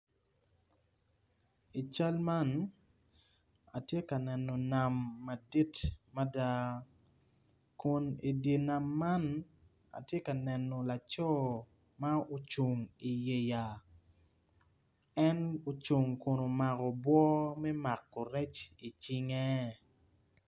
I cal man atye ka neno nam madit mada kun idi nam man atye ka laco ma ocung idi yeya en ocung kun omako obwo me mako rec icinge.